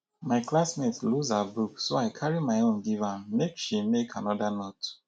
my classmate lose her book so i carry my own give am make she make another note